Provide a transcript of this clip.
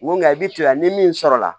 Ŋo ŋɔni i bi to yan ni min sɔrɔla